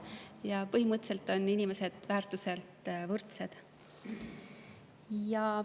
Ja põhimõtteliselt on inimesed oma väärtuselt võrdsed.